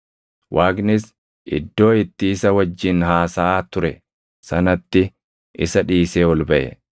Waaqnis iddoo itti isa wajjin haasaʼaa ture sanatti isa dhiisee ol baʼe.